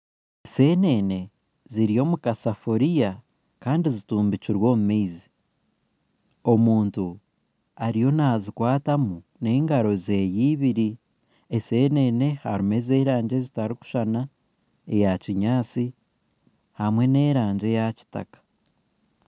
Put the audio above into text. Ensenene ziri omukasefuriya Kandi zitumbikire omu maizi omuntu ariyo nazikwatamu n'engaro ze ibiri ensenene harimu erangi ezitarikusushana eyakinyatsi n'erangi eyakitaka